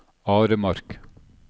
Aremark